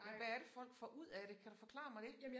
Men hvad er det folk får ud af det kan du forklare mig det?